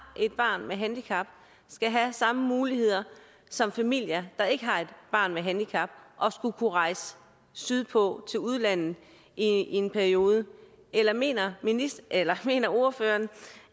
et barn med handicap skal have samme muligheder som familier der ikke har et barn med handicap og kunne rejse sydpå til udlandet i en periode eller mener eller mener ordføreren